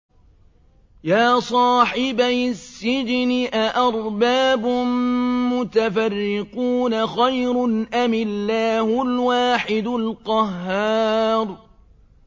يَا صَاحِبَيِ السِّجْنِ أَأَرْبَابٌ مُّتَفَرِّقُونَ خَيْرٌ أَمِ اللَّهُ الْوَاحِدُ الْقَهَّارُ